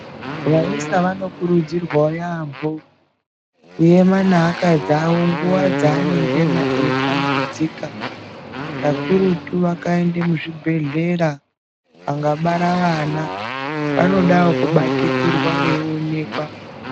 Vayisa vanokurudzirwawo yambo kuyema neakadzi awo nguwa dzaanengena eyitambudzika, kakurutu vakaenda muzvibhedhlera, vanga bara vana, vanodawo kubatikirwa veyiwonekwa.